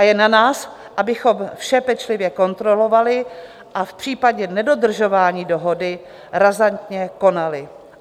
A je na nás, abychom vše pečlivě kontrolovali a v případě nedodržování dohody razantně konali.